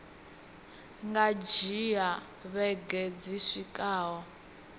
nga dzhia vhege dzi swikaho